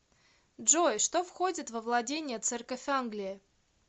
джой что входит во владения церковь англии